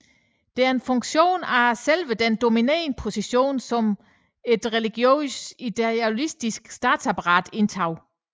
Det er en funktion af selve den dominerende position som det religiøse ideologiske statsapparat indtog